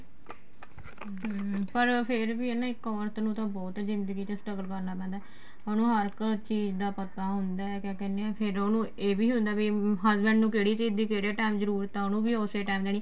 ਹਮ ਪਰ ਫੇਰ ਵੀ ਏ ਨਾ ਇੱਕ ਔਰਤ ਨੂੰ ਤਾਂ ਬਹੁਤ ਜਿੰਦਗੀ ਚ struggle ਕਰਨਾ ਪੈਂਦਾ ਉਹਨੂੰ ਹਰ ਇੱਕ ਚੀਜ਼ ਦਾ ਪਤਾ ਹੁੰਦਾ ਕਿਆ ਕਹਿੰਨੇ ਆ ਫੇਰ ਉਹਨੂੰ ਇਹ ਵੀ ਹੁੰਦਾ ਵੀ husband ਨੂੰ ਕਿਹੜੀ ਚੀਜ਼ ਦੀ ਕਿਹੜੇ time ਜਰੂਰਤ ਏ ਉਹਨੂੰ ਵੀ ਉਸੇ time ਜਾਨੀ